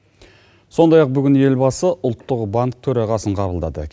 сондай ақ бүгін елбасы ұлттық банк төрағасын қабылдады